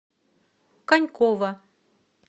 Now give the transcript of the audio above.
конькова